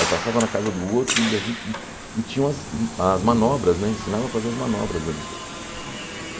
Aí passava na casa do outro e a gente e tinha as manobras né, ensinava a fazer as manobras ali.